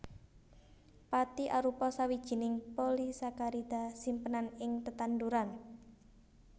Pathi arupa sawijining polisakarida simpenan ing tetanduran